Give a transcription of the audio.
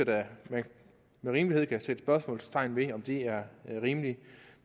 man med rimelighed kan sætte spørgsmålstegn ved om det er rimeligt